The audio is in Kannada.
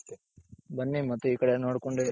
ಬನ್ನಿ ಮತ್ತೆ ಈ ಕಡೆ ನೋಡ್ಕೊಂಡ್